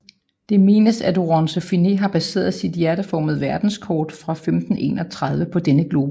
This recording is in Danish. Det menes at Oronce Fine har baseret sit hjerteformede verdenskort fra 1531 på denne globus